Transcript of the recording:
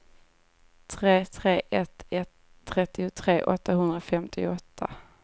tre tre ett ett trettiotre åttahundrafemtioåtta